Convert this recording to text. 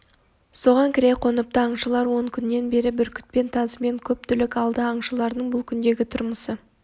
соған кіре қоныпты аңшылар он күннен бері бүркітпен тазымен көп түлік алды аңшылардың бұл күндегі тұрмысы